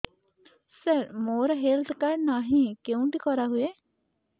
ସାର ମୋର health card ନାହିଁ କେଉଁଠି କରା ହୁଏ